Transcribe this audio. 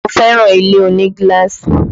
Mo fẹ́ràn ilé oní gíláàsì